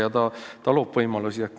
See ju loob uusi võimalusi.